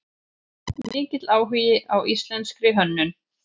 Mikill áhugi á íslenskri hönnun